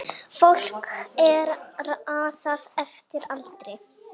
Fólki er raðað eftir aldri